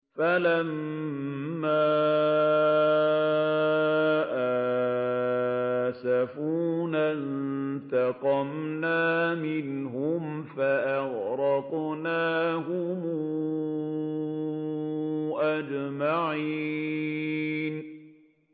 فَلَمَّا آسَفُونَا انتَقَمْنَا مِنْهُمْ فَأَغْرَقْنَاهُمْ أَجْمَعِينَ